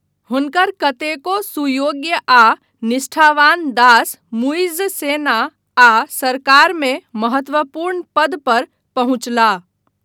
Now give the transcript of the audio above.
हुनकर कतेको सुयोग्य आ निष्ठावान दास मुइज्ज सेना आ सरकारमे महत्वपूर्ण पद पर पहुँचलाह।